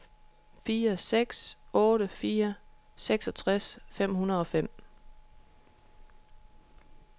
fire seks otte fire seksogtres fem hundrede og fem